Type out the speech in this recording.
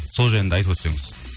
сол жайында айтып өтсеңіз